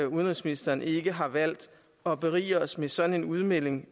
udenrigsministeren ikke har valgt at berige os med sådan en udmelding